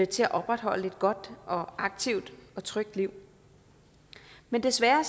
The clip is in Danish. til at opretholde et godt og aktivt og trygt liv men desværre